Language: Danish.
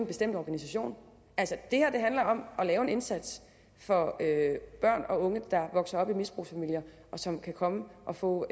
bestemt organisation det handler om at lave en indsats for børn og unge der vokser op i misbrugsfamilier som kan komme og få